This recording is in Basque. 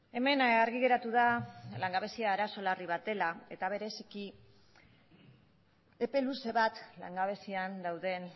hemen argi geratu da langabezia arazo larri bat dela eta bereziki epe luze bat langabezian dauden